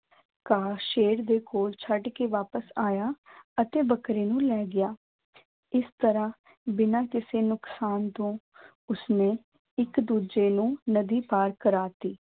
ਘਾਹ ਸ਼ੇਰ ਦੇ ਕੋਲ ਛੱਡ ਕੇ ਵਾਪਸ ਆਇਆ ਅਤੇ ਬੱਕਰੀ ਨੂੰ ਲੈ ਗਿਆ, ਇਸ ਤਰ੍ਹਾਂ ਬਿਨਾਂ ਕਿਸੇ ਨੁਕਸਾਨ ਤੋਂ ਉਸਨੇ ਇੱਕ ਦੂਜੇ ਨੂੰ ਨਦੀ ਪਾਰ ਕਰਵਾ ਦਿੱਤੀ।